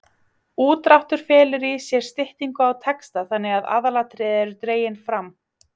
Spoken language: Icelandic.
Útdráttur felur í sér styttingu á texta þannig að aðalatriði eru dregin fram.